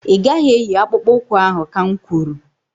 Ị gaghị eyi akpụkpu ụkwụ ahụ ka n kwuru!